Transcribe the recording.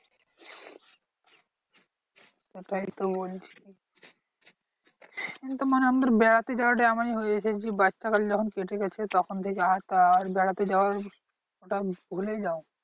ওটাই তো বলছি। মানে আমাদের বেড়াতে যাওয়াটা এমনি হয়ে এসেছে যে বাচ্চা কাল যখন কেটে গেছে তখন বেড়াতে যাওয়ার